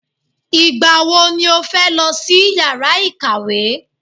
Ìgbà wo ni o fẹ́ lọ sí yàrá ìkàwé?